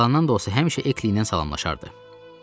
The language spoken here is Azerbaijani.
Yalandan da olsa həmişə Ekliylə salamlaşardı.